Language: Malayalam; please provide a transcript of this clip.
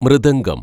മൃദംഗം